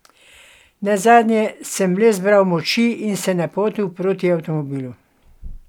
Nazadnje sem le zbral moči in se napotil proti avtomobilu.